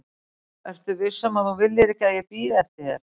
ertu viss um að þú viljir ekki að ég bíði eftir þér?